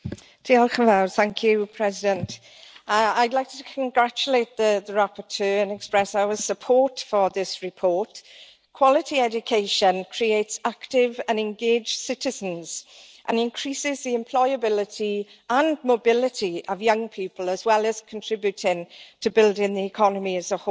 Mr President, I would like to congratulate the rapporteur and express our support for this report. Quality education creates active and engaged citizens and increases the employability and mobility of young people, as well as contributing to building the economy as a whole.